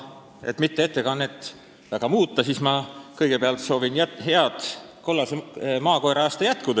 Et mitte oma ettekannet väga muuta, siis ma alustan heade soovidega ja kõigepealt soovin teile head kollase maakoera aasta jätku.